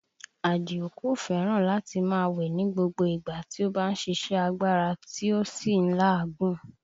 Àdìó kò fẹ́ràn láti máa wẹ̀ ni gbogbo ìgbà tí ó bá ṣíṣe agbára tí ó sì ń la òógùn